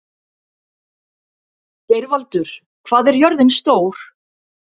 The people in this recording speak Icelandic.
Geirvaldur, hvað er jörðin stór?